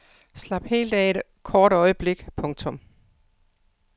Slap helt af et kort øjeblik. punktum